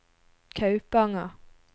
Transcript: Kaupanger